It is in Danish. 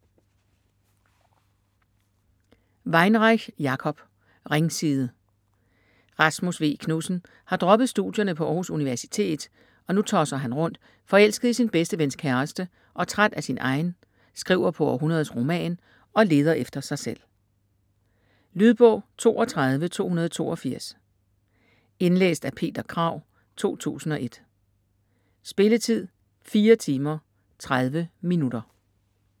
Weinreich, Jacob: Ringside Rasmus V. Knudsen har droppet studierne på Århus Universitet, og nu tosser han rundt, forelsket i sin bedste vens kæreste og træt af sin egen, skriver på århundredets roman, og leder efter sig selv. Lydbog 32282 Indlæst af Peter Krag, 2001. Spilletid: 4 timer, 30 minutter.